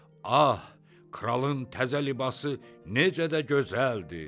Ah, kralın təzə libası necə də gözəldir,